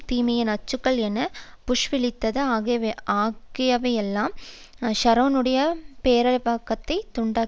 தீமையின் அச்சுக்கள் என புஷ் விளித்தது ஆகியவையெல்லாம் ஷரோனுடைய பேரவாக்களைத் தூண்டிவிட்டுள்ளன